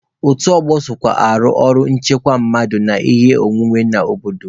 Otu ọgbọ sokwa arụ ọrụ nchekwa mmadụ na ihe ọnwụnwe n'obodo.